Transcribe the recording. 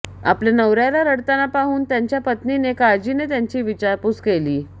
आपल्या नवऱ्याला रडताना पाहून त्यांच्या पत्नीने काळजीने त्यांची विचारपूस केली